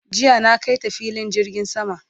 jiya na kaita filin jirgin sama